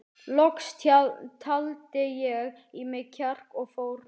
Loks taldi ég í mig kjark og fór fram.